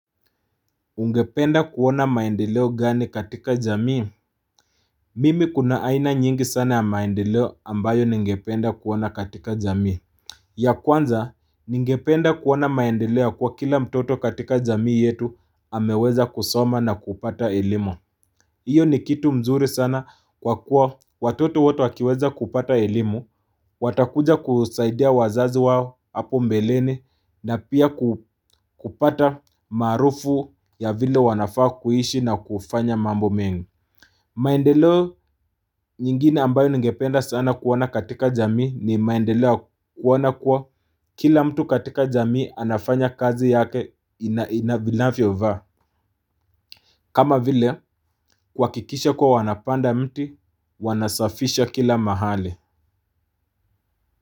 Ungependa kuona maendeleo gani katika jamii? Mimi kuna aina nyingi sana ya maendeleo ambayo ningependa kuona katika jamii. Ya kwanza ningependa kuona maendeleo kwa kila mtoto katika jamii yetu ameweza kusoma na kupata elimu. Iyo ni kitu mzuri sana kwa kuwa watoto wote wakiweza kupata elimu, watakuja kusaidia wazazi wao hapo mbeleni na pia kupata marufu ya vile wanafaa kuishi na kufanya mambo mengi. Maendeleo nyingine ambayo ngependa sana kuwana katika jami ni maendeleo kuona kuwa kila mtu katika jami anafanya kazi yake inavyofaa. Kama vile, wakikisha kuwa wanapanda mti, wanasafisha kila mahali.